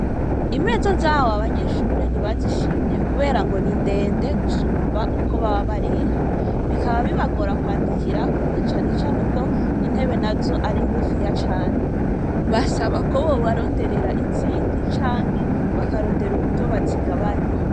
Imeza, zahawe abanyeshure, ntibazishimye, kubera ngo ni ndende, gusumba uko baba bareha; bikaba, bibagora kwandikirako, na cane cane ko, intebe nazo, ari ngufiya cane; basaba ko, bobaronderera izindi, canke bakarondera uburyo, bozigabanya.